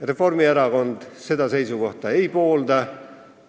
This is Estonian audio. Reformierakond seda seisukohta ei poolda.